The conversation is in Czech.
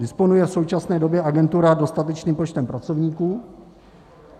Disponuje v současné době agentura dostatečným počtem pracovníků?